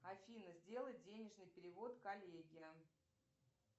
афина сделай денежный перевод коллеге